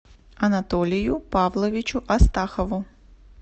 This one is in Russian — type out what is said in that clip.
анатолию павловичу астахову